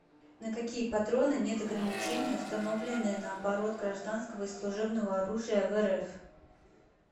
на какие патроны нет ограничения установленные на оборот гражданского и служебного оружия в рф